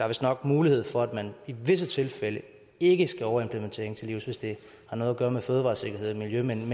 vistnok mulighed for at man i visse tilfælde ikke skal overimplementering til livs hvis det har noget at gøre med fødevaresikkerhed og miljø men